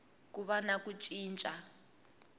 ku va na ku cinca